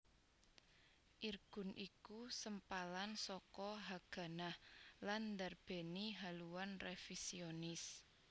Irgun iku sempalan saka Haganah lan ndarbèni haluan révisionis